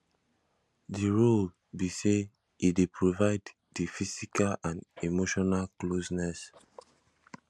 di role be say e dey provide di physical and emotional closeness